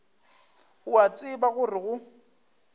o a tseba gore go